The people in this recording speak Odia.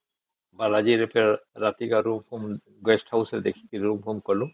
ବାଲାଜୀ ରେ ଫେର ରାତିରେ guest house ଦେଖିକି ରୁମ ଫୂମ କଲୁ